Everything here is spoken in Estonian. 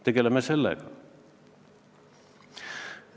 Tegeleme sellega!